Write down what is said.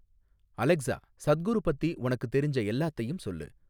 Alexa Sadhguru பத்தி உனக்குத் தெரிஞ்ச எல்லாத்தையும் சொல்லு